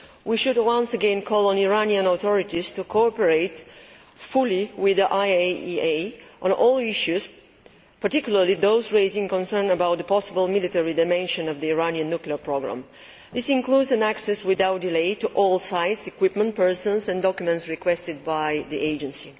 We should once again call on the Iranian authorities to cooperate fully with the IAEA on all issues, particularly those raising concerns about the possible military dimensions of the Iranian nuclear programme. This includes access without delay to all sites, equipment, persons and documents requested by the Agency.